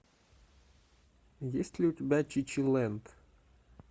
есть ли у тебя чичилэнд